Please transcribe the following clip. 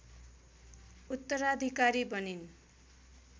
उत्तराधिकारी बनिन्